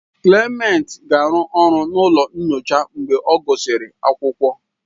Clement ga-arụ ọrụ n'ụlọ nyocha mgbe ọ gụsịrị akwụkwọ.